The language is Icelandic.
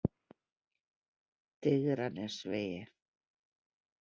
Digranesvegi